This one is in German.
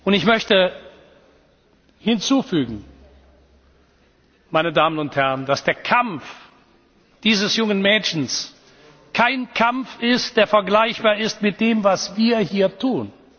Ich möchte hinzufügen, meine Damen und Herren, dass der Kampf dieses jungen Mädchens kein Kampf ist, der vergleichbar ist mit dem, was wir hier